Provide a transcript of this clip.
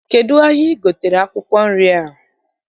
Kedụ n'ahịa I gotere akwụkwọ nri a?